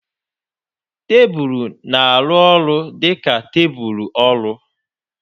Tebụl na-arụ ọrụ dị ka tebụl ọrụ.